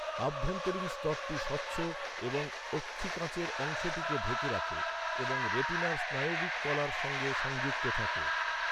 আভ্যন্তরীণ স্তরটি স্বচ্ছ এবং অক্ষিকাঁচের অংশটিকে ঢেকে রাখে এবং রেটিনার স্নায়বিক কলার সঙ্গে সংযুক্ত থাকে।